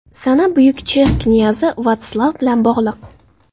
Sana buyuk chex knyazi Vatslav bilan bog‘liq.